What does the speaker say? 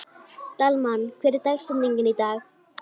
Dalmann, hver er dagsetningin í dag?